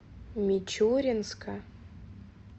мичуринска